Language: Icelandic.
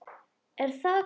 Er það hvað.